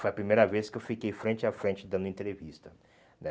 Foi a primeira vez que eu fiquei frente a frente dando entrevista, né?